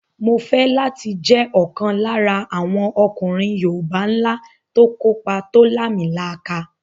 Mo fẹ́ láti jẹ́ ọ̀kan lára àwọn ọkùnrin yoòbá ńlá tó kópa tó làmìlaka